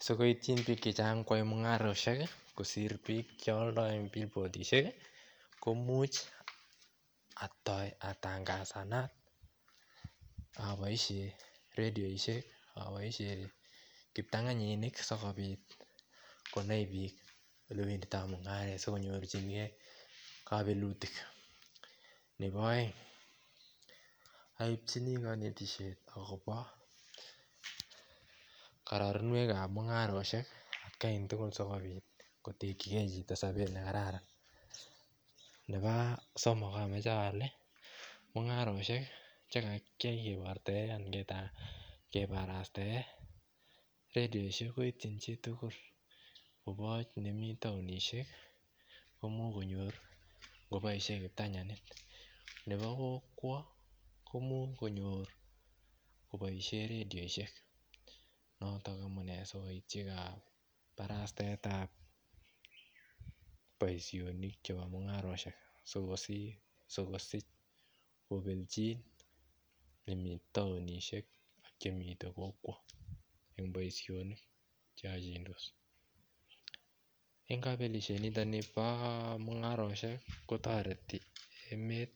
Si kobiit ityi biik che chang koyai mungarosiek kosir biik che aldoi en billboards komuch atangasanda aboishen redioisiek aboishen kiptanganyinik asikobit konai biik alewenditoi mungaret asikonyorchi gee kabelutik nebo aeng aibchini kabelisiet akobo karorunwek kap mungarosiek kai tugul asikobit kotekyi gee chito sobet ne kararan nebo somok amache ale mungarosiek che kakiyai kibarartegei redioisiek koityin chi tugul koboch ne mi taonisiek koimuch konyor koboishen kiptanganyinik nebo kokwo koimuch konyor koboishen redioisiek noton amu ne asikoityi kabarastaet ab boisionik chebo mungarosiek asikosich kobelchi nemi taonisiek ak che mi kokwo boisionik che achindos en kabelisiet niton nii bo mungarosiek kotoret emet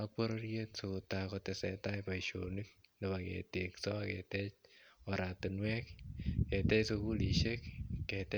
ak bororiet asikotesendai boisionik nebo ketekso ak ketech oratinwek ketech sugulisiek ketech